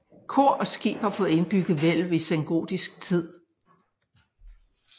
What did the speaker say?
Kor og skib har fået indbygget hvælv i sengotisk tid